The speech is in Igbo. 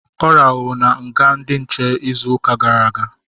Ọ rahụru na nga ndị nche izu ụka gara aga